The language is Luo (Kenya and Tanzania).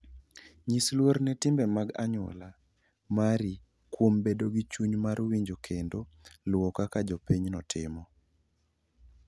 Nyis luor ne timbe mag anyuola mari kuom bedo gi chuny mar winjo kendo luwo kaka jopinyno timo.